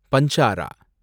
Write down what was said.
Banjara